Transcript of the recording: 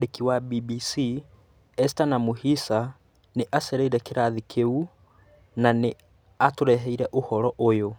Mwandĩki wa BBC Esther Namuhisa nĩ acereĩre kĩrathi kĩu na nĩ atũreheire ũhoro ũyũ: